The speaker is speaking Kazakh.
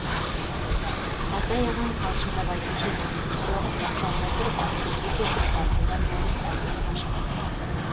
қалтай ағам қалжыңдап айтушы еді соғыс басталмай тұрып әскерге кетіп партизан болып әдейі қашқан